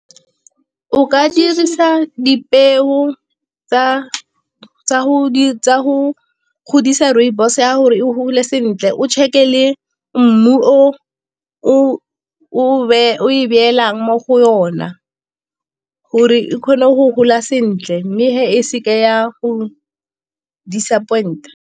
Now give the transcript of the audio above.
O ka dirisa dipeo tsa go godisa rooibos ya gore e gole sentle, o check-e le mmu o e beelang mo go yona gore e kgone go gola sentle mme e seke ya go disappoint-a.